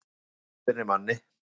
Mamma leiðbeinir manni